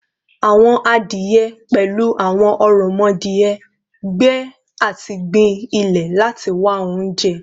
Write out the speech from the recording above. Awọn adie, pẹlu awọn oromodie, gbe ati gbin ilẹ lati wa ounjẹ